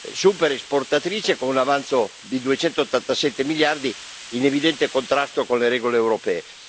super esportatrice, con un avanzo di 287 miliardi in evidente contrasto con le regole europee.